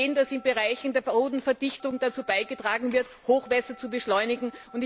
Wir sehen, dass in Bereichen der Bodenverdichtung dazu beigetragen wird, Hochwasser zu beschleunigen.